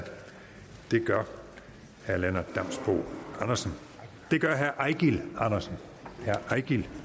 det gør herre eigil andersen eigil